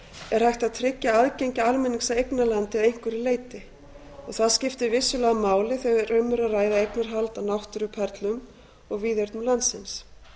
er hægt að tryggja aðgengi almennings að eignarlandi að einhverju leyti og það skiptir vissulega máli þegar um er að ræða eignarhald á náttúruperlum og víðernum landsins